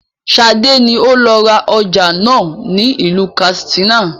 Sade ni ó lọ ra ọjà náà ni ilu katsina